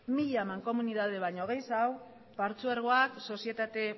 mila mankomunidade baino gehiago patzuergoak sozietate